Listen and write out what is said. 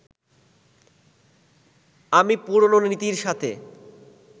আমি পুরনো নীতির সাথে